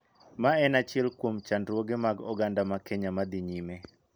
Ma en achiel kuom chandruoge mag oganda ma Kenya ma dhi nyime.